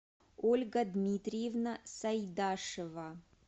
ольга дмитриевна сайдашева